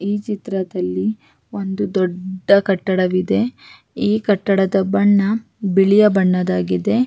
ಈ ಚಿತ್ರದಲ್ಲಿ ಒಂದು ದೊಡ್ಡ ಕಟ್ಟಡವಿದೆ ಈ ಕಟ್ಟಡದ ಬಣ್ಣ ಬಿಳಿಯ ಬಣ್ಣದಾಗಿದೆ.